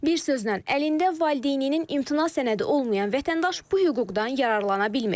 Bir sözlə, əlində valideyninin imtina sənədi olmayan vətəndaş bu hüquqdan yararlana bilmir.